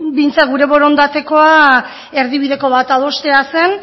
behintzat gure borondatekoa erdibideko bat adostea zen